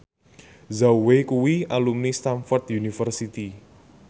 Zhao Wei kuwi alumni Stamford University